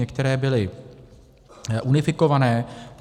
Některé byly unifikované.